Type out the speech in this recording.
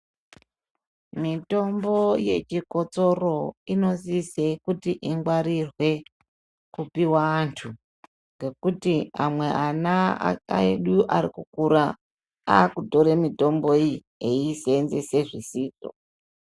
Mitombo yechikotsoro unosise kunge ichingwarirwe kupiwa antu ngekuti amwe ana edu ari kukura akutore mitombo iyi eyisenzese zvisizvo.